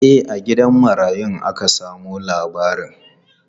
E, a gidan marayun aka samo labarin.